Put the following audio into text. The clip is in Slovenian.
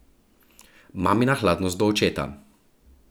Mamina hladnost do očeta.